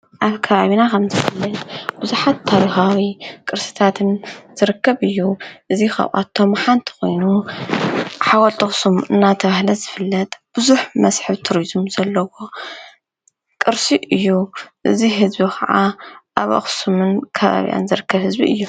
ኣብ ከብ ኣብና ኸም ዝፍለት ብዙኃት ታሪሃዊ ቅርስታትን ዘርከብ እዩ እዙይ ኸብቶም ሓንቲ ኾይኑ ሓወልጠኽስም እናተብህለት ዝፍለጥ ብዙኅ መሢሒብ ቱሩዙም ዘለዎ ቕርሲ እዩ እዙ ሕዝቢ ኸዓ ኣብ ኣኽስምን ካባብያን ዘርክብ ሕዝቢ እዩ።